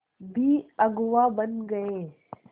भी अगुवा बन गए